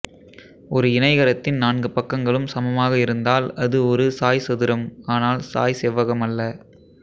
ஒரு இணைகரத்தின் நான்கு பக்கங்களும் சமமாக இருந்தால் அது ஒரு சாய்சதுரம் ஆனால் சாய்செவ்வகம் அல்ல